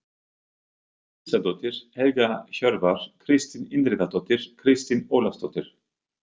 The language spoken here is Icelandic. Gísladóttir, Helga Hjörvar, Kristín Indriðadóttir, Kristín Ólafsdóttir